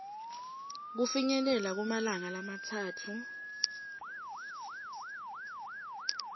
kufinyelela kumalanga lamatsatfu